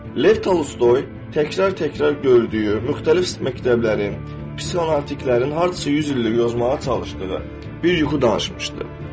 Lev Tolstoy təkrar-təkrar gördüyü, müxtəlif məktəblərin, psixoanalitiklərin hardasa yüz illik yozmağa çalışdığı bir yuxu danışmışdı.